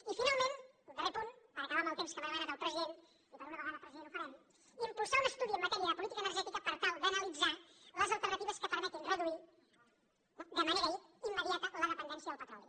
i finalment darrer punt per acabar amb el temps que m’ha demanat el president i per una vegada president ho farem impulsar un estudi en matèria de política energètica per tal d’analitzar les alternatives que permetin reduir de manera immediata la dependència del petroli